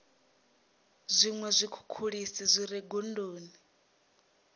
zwiṅwe zwikhukhulisi zwi re gondoni